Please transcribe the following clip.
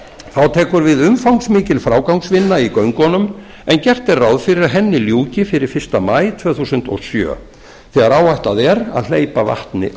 þá tekur við umfangsmikil frágangsvinna í göngunum en gert er ráð fyrir að henni ljúki fyrir fyrsta maí tvö þúsund og sjö þegar áætlað er að hleypa vatni á